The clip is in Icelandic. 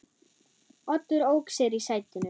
Oddur ók sér í sætinu.